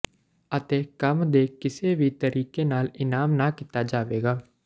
ਅਤੇ ਕੰਮ ਦੇ ਕਿਸੇ ਵੀ ਤਰੀਕੇ ਨਾਲ ਇਨਾਮ ਨਾ ਕੀਤਾ ਜਾਵੇਗਾ